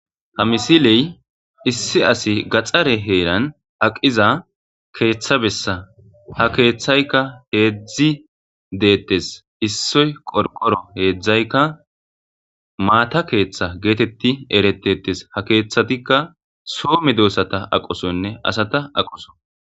Ha misiley issi asi gaxare heeran aqiza keeththabessa ha keeththaykka heedzdzi deettes issoy qorqoro heedzdzaykka maata keeththa geetetti eretetes ha keeththatikka soo medoessata aqosonne asata aqoso.